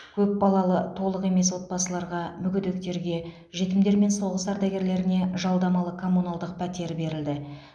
көпбалалы толық емес отбасыларға мүгедектерге жетімдер мен соғыс ардагерлеріне жалдамалы коммуналдық пәтер берілді